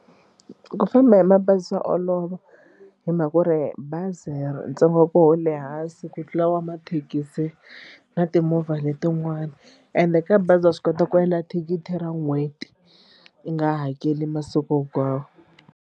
Ku famba hi mabazi swa olova hi mhaka ku ri bazi ri ntsengo wa koho wu le hansi ku tlula wa mathekisi na timovha letin'wani ende ka bazi wa swi kota ku endla thikithi ra n'hweti yi nga i hakeli masiku hinkwawo.